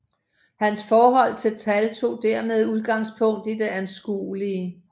Hans forhold til tal tog dermed udgangspunkt i det anskuelige